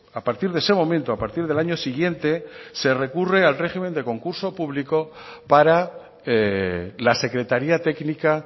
a partir de ese momento a partir del año siguiente se recurre al régimen de concurso público para la secretaría técnica